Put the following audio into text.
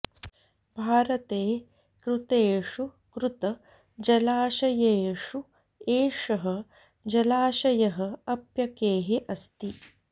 भारते कृतेषु कृत जलाशयेषु एषः जलाशयः अप्यकेः अस्ति